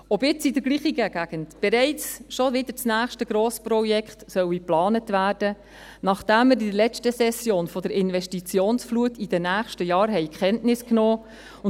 Ob jetzt in der gleichen Gegend bereits wieder das nächste Grossprojekt geplant werden soll, nachdem wir in der letzten Session von der Investitionsflut in den nächsten Jahren Kenntnis genommen haben?